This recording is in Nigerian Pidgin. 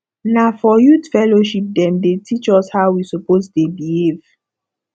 na for youth fellowship dem dey teach us how we suppose dey behave